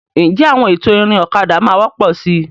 Ǹjẹ́ àwọn ètò ìrìn ọ̀kadà máa wọ́pọ̀ síi?